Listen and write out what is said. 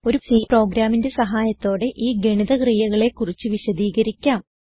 ഒരു C പ്രോഗ്രാമിന്റെ സഹായത്തോടെ ഈ ഗണിത ക്രിയകളെ കുറിച്ച് വിശദീകരിക്കാം